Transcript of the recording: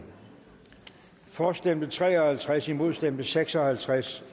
for stemte tre og halvtreds imod stemte seks og halvtreds